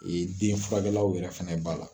den fura kɛlaw yɛrɛ fɛnɛ b'a la.